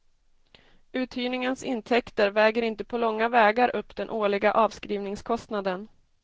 Uthyrningens intäkter väger inte på långa vägar upp den årliga avskrivningskostnaden.